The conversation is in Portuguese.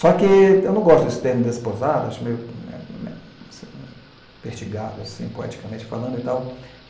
Só que eu não gosto desse termo desposado, acho meio vertigado assim, poeticamente falando e tal.